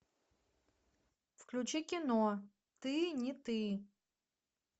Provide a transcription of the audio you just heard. включи кино ты не ты